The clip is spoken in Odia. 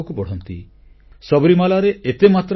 ଆମ ପାଖରେ ଏଭଳି ସ୍ବଚ୍ଛ ଭାରତ ନିର୍ମାଣର ଅନେକ ଦୃଷ୍ଟାନ୍ତ ରହିଛି